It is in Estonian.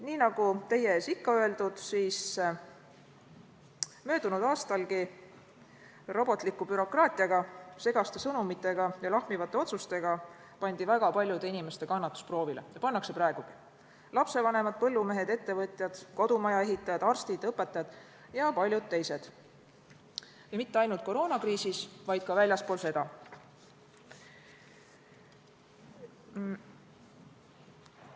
Nii nagu teie ees olen ikka öelnud, siis pandi ka möödunud aastal robotliku bürokraatia, segaste sõnumite ja lahmivate otsustega proovile väga paljude inimeste kannatus, pannakse praegugi – lapsevanemad, põllumehed, ettevõtjad, kodumajaehitajad, arstid, õpetajad ja paljud teised, ja mitte ainult koroonakriisis, vaid ka väljaspool seda.